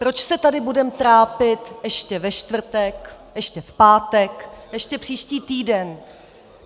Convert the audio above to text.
Proč se tady budeme trápit ještě ve čtvrtek, ještě v pátek, ještě příští týden?